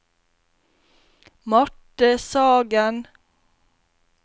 Marte Sagen